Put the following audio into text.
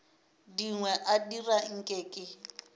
dingwe a dira nke ke